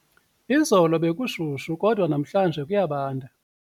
Izolo bekushushu kodwa namhlanje kuyabanda.